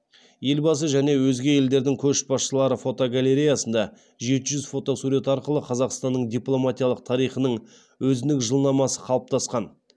елбасы және өзге елдердің көшбасшылары фотогалереясында жеті жүз фотосурет арқылы қазақстанның дипломатиялық тарихының өзіндік жылнамасы қалыптасқан